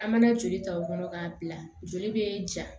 An mana joli ta o kɔnɔ k'a bila joli bɛ ja